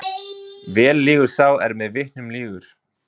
Vel lýgur sá er með vitnum lýgur.